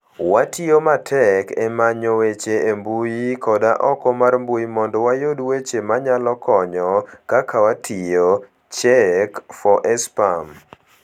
Watiyo matek e manyo weche e mbui koda oko mar mbui mondo wayud weche manyalo konyo - Kaka watiyo, check4spam.